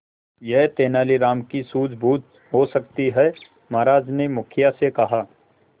यह तेनालीराम की सूझबूझ हो सकती है महाराज ने मुखिया से कहा